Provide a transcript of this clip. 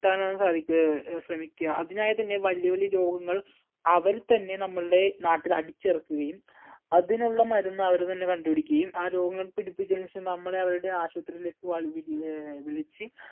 എത്താനാണ് സാധിക്ക് ഏർ ശ്രമിക്ക അതിനായി തന്നെ വല്യ വല്യ രോഗങ്ങൾ അവർ തന്നെ നമ്മുടെ നാട്ടിൽ അടിച്ചിറക്കുകയും അതിനുള്ള മരുന്ന് അവർ തന്നെ കണ്ടുപിടിക്കുകയും ആ രോഗങ്ങൾ പിടിപ്പിച്ചതിന് ശേഷം നമ്മളെ അവരുടെ ആശുപത്രിയിലേക്ക് വി ഏർ വിളിച്